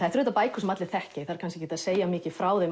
eru auðvitað bækur sem allir þekkja ég þarf ekkert að segja mikið frá þeim